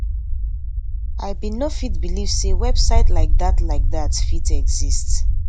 i bin no fit believe say website like dat like dat fit exist